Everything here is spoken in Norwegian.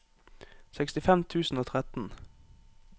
sekstifem tusen og tretten